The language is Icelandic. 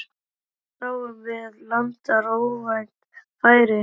Þar sáum við landar óvænt færi.